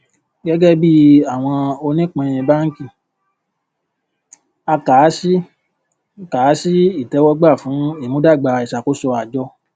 gẹgẹ bí àwọn onípín bánkì a kà á sí kà á sí ìtẹwọgbà fún ìmúdágbà ìṣàkóso àjọ